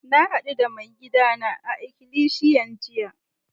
Na haddu da maigida na a'ikilisiyan jiya.